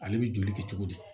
Ale bɛ joli kɛ cogo di